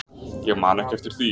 Ég man ekki eftir því.